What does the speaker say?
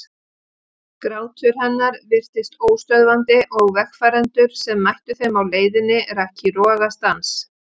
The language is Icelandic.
Grátur hennar virtist óstöðvandi og vegfarendur sem mættu þeim á leiðinni rak í rogastans.